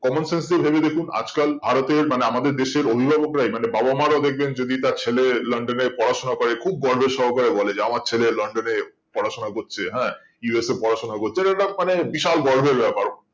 common sense দিয়ে ভেবে দেখুন আজ কাল ভারতের মানে আমাদের দেশের অভিভাবকরাই মানে বাবা মা রা দেখবেন যদি তার ছেলে লন্ডনে পড়াশোনা করে খুব গর্ভ সহকারে করে বলে যে আমার ছেলে লন্ডনে পড়াশোনা করছে হ্যাঁ USA এ পড়াশোনা করছে এটা এটা মানে বিশাল গর্ভের ব্যাপার